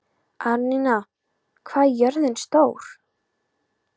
Árnína, hvað er jörðin stór?